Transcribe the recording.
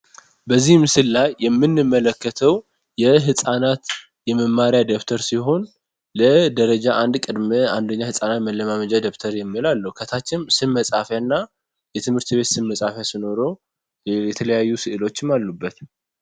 በዚህ ምስል ላይ የሚንመለከተው የሕፃናት የመማሪያ ደብተር ሲሆን ለደረጃ አንድ ቅድምዕ አንድኛ ሕፃናት መለማመጃ ደብተር የሚላለው ከታችም ስብ መጻፊያ እና የትምህርት ቤት ስብ መጻሐፊያ ስኖሮ የተለያዩ ስዕሎችም አሉበት።